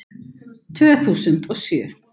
Tvö þúsund og sjö